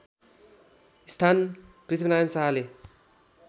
स्थान पृथ्वीनारायण शाहले